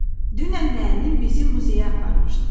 Dünən müəllim bizi muzeyə aparmışdı.